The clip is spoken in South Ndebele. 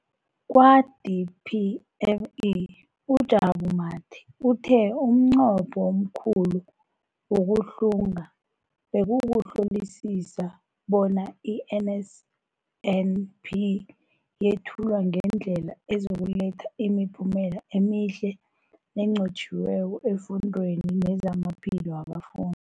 Kwa-DPME, uJabu Mathe, uthe umnqopho omkhulu wokuhlunga bekukuhlolisisa bona i-NSNP yethulwa ngendlela ezokuletha imiphumela emihle nenqotjhiweko efundweni nezamaphilo wabafundi.